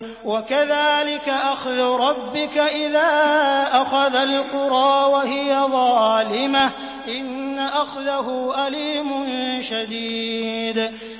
وَكَذَٰلِكَ أَخْذُ رَبِّكَ إِذَا أَخَذَ الْقُرَىٰ وَهِيَ ظَالِمَةٌ ۚ إِنَّ أَخْذَهُ أَلِيمٌ شَدِيدٌ